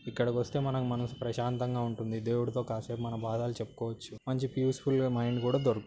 ఇక్కడ కొస్తే మనం మనసు ప్రశాంతంగ ఉంటుంది. దేవుడితో కాసేపు మన బాధలు చెపుకోవచ్చు. మంచి పీస్ ఫుల్ గ మైండ్ కూడా దొరుకు--